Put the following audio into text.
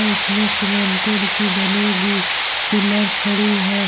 अ उसमे सीमेंटेड की बनेगी पिलर खड़ी है।